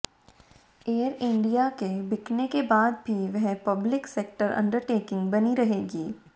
air India के बिकने के बाद भी वह पब्लिक सेक्टर अंडरटेकिंग बनी रहेगी